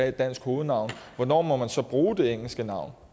et dansk hovednavn hvornår må man så bruge det engelske navn